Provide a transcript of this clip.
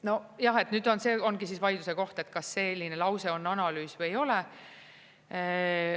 Nojah, nüüd see ongi vaidluse koht, kas selline lause on analüüs või ei ole.